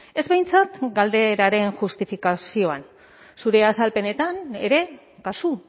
ez behintzat galderaren justifikazioan zure azalpenetan ere kasu